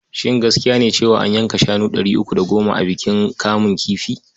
Shin gaskiya ne cewa an yanka shanu ɗari uku da goma a bikin kamun kifi?